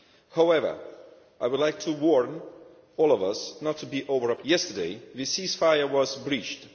However, I would like to warn all of us not to be over optimistic. Yesterday the ceasefire was breached.